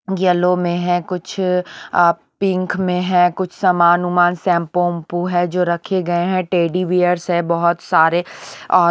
yellow में है कुछ अ पिंक में है कुछ समान उमान शैंपू उम्पू है जो रखे गए हैं टेडी बियर्स है बहुत सारे और--